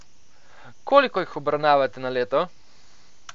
Koliko jih obravnavate na leto?